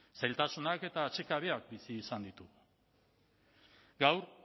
zailtasunak eta atsekabeak bizi izan ditugu gaur